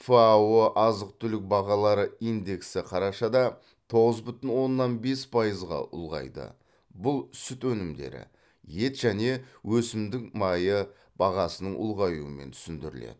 фао азық түлік бағалары индексі қарашада тоғыз бүтін оннан бес пайызға ұлғайды бұл сүт өнімдері ет және өсімдік майы бағасының ұлғаюымен түсіндіріледі